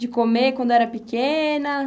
De comer quando era pequena?